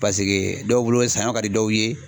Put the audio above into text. Paseke dɔw bolo saɲɔ ka di dɔw ye